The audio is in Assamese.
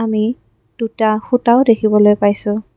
আমি দুটা খুঁটাও দেখিবলৈ পাইছোঁ।